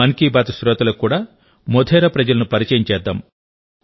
మన్ కీ బాత్ శ్రోతలకు కూడా మోధేరా ప్రజలను పరిచయం చేద్దాం